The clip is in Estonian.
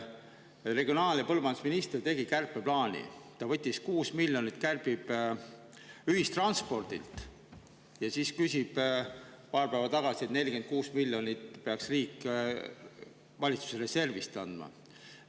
Regionaal- ja põllumajandusminister tegi kärpeplaani: ta kärbib 6 miljonit ühistranspordilt, kuid paar päeva tagasi küsis ta valitsuse reservist 46 miljonit eurot, mille riik peaks andma.